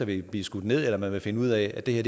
vil blive skudt ned eller hvor man vil finde ud af at det